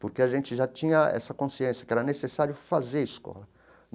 Porque a gente já tinha essa consciência que era necessário fazer escola.